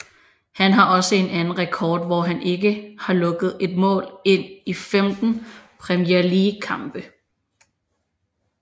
Han har også en anden rekord hvor han ikke har lukket et mål ind i 15 Premier League kampe